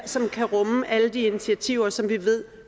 som kan rumme alle de initiativer som vi ved